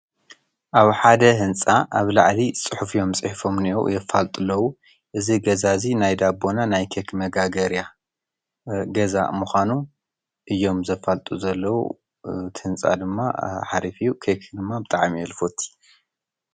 ኣብ ሓደ ህንፃ ኣብ ላዕሊ ፅሑፍ እዮም ፅሒፎም ዝኒሀው የፋልጡ ኣለው እዚ ገዛ እዙይ ናይ ዳቦ እና ናይ ኬክ መጋገርያ ገዛ ምካኑ እዮም ዘፋሉጡ ዘለው። እቲ ህንፃ ድማ ሓደ ኬክ ድማ ብጣዕሚ እየ ዝፈቱ።